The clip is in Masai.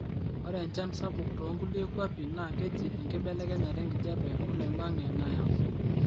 ore enchan sapuk toonkulie kuapi na keji enkibelekenyata enkijape oloingangi nayau